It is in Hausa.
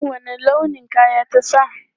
Wanne launin kaya ta sa?